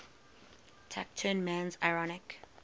taciturn man's ironic